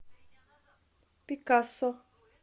пикассо